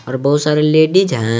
और बहुत सारे लेडीज हैं।